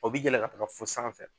O bɛ yɛlɛ ka taga fo sanfɛ